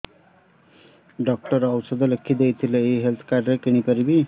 doctor ଔଷଧ ଲେଖିଦେଇଥିଲେ ଏଇ ହେଲ୍ଥ କାର୍ଡ ରେ କିଣିପାରିବି